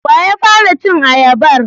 Wa ya fara cin ayabar?